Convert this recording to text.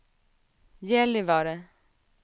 Gällivare